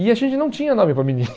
E a gente não tinha nome para